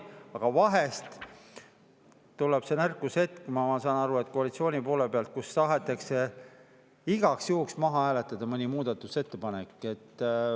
Aga vahel tuleb see nõrkusehetk, ma saan aru, koalitsiooni poole pealt, kui tahetakse igaks juhuks maha hääletada mõni muudatusettepanek.